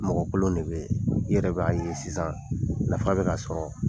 Mɔgɔkolon de bɛ ye i yɛrɛ b'a ɲini sisan nafa bɛna sɔrɔ.